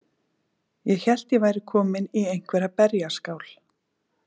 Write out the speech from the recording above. Ég hélt að ég væri komin í einhverja berjaskál.